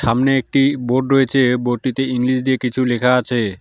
সামনে একটি বোর্ড রয়েছে বোর্ড -টিতে ইংলিশ দিয়ে কিছু লেখা আছে।